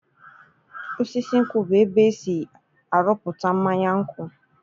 Osisi nkwụ bụ ébé esi aruputa mmanya nkwụ.